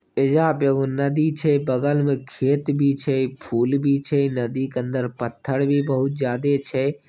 एजा पर एगो नदी छै बगल में खेत भी छै फूल भी छै नदी के अंदर पत्थर भी बहुत ज्यादे छै।